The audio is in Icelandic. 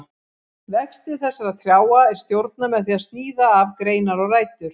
Vexti þessara trjáa er stjórnað með því að sníða af greinar og rætur.